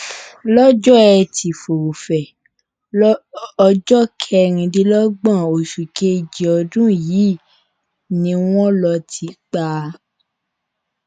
lọjọ etí furuufee ọjọ kẹrìndínlógún oṣù kejì ọdún yìí ni wọn lọọ tì í pa